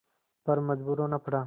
पर मजबूर होना पड़ा